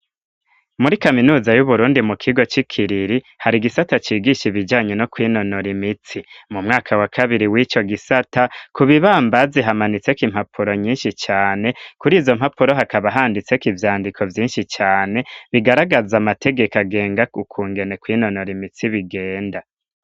Muri kaminuza y'Uburundi, mu kigo c'i Kiriri, hari igisata, cigisha ibijanye no kwinonora imitsi; mu mwaka wa kabiri, w'ico gisata, ku bibambazi, hamanitseko impapuro, nyinshi cane; kuri izo mpapuro, hakaba handitseko, ivyandiko vyinshi cane, bigaragaza amategeka, agenga ukungene, kwinonora imitsi, bigenda.